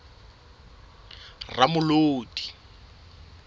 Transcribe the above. ramolodi